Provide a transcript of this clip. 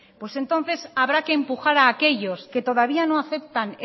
pues entonces habrá que empujar a aquellos que todavía no aceptan